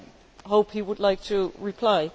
I hope he would like to reply.